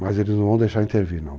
Mas eles não vão deixar intervir, não.